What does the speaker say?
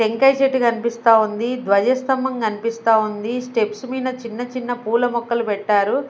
టెంకాయ చెట్టు కనిపిస్త ఉంది ధ్వజస్తంభం కనిపిస్త ఉంది స్టెప్స్ మీద చిన్న చిన్న పూల మొక్కలు పెట్టారు.